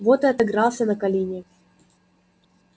вот и отыгрался на колине